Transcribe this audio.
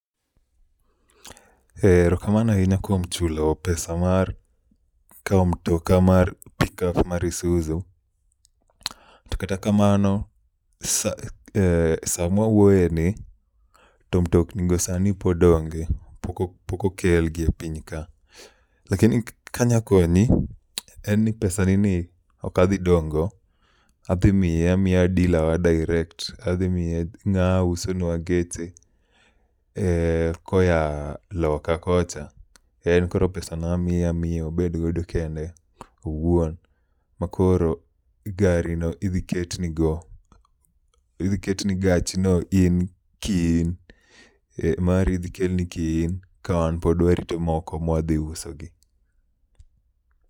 Ee erokamno ahinya kuom chulo pesa mar kawo mtoka mar pikap mar Isuzu. To kata kamano, sa eh samwa wuoye ni to mtokni go sani pod onge, pok okelgi e piny ka. Lakini kanya konyi en ni pesa ni ni okadhi dong' go, adhi miye amiya dila wa direct. Adhi miye ng'aa usonwa geche koa loka kocha, en koro pesa no amiye amiya obedgodo kende owuon. Ma koro gari no idhi ketni go, idhi ketni gachi no in ki in. Mari idhi kelni ki in ka wan pod warito mwadhi uso gi.